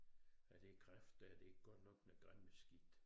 Ja det kræft dér det godt nok noget gammelt skidt